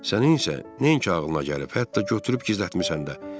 Sənin isə nəinki ağlına gəlib, hətta götürüb gizlətmisən də.